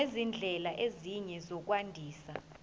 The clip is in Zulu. nezindlela ezinye zokwandisa